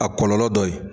A kɔlɔlɔ dɔ ye